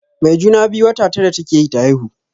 Mai juna-biyu wata tara take yi ta haihu.